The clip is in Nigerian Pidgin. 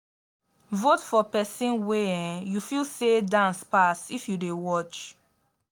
vote for persin wey um you feel say dance pass if you de watch